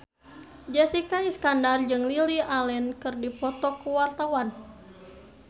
Jessica Iskandar jeung Lily Allen keur dipoto ku wartawan